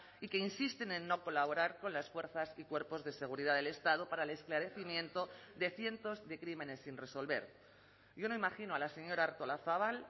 y que insisten en no colaborar con las fuerzas y cuerpos de seguridad del estado para el esclarecimiento de cientos de crímenes sin resolver yo no imagino a la señora artolazabal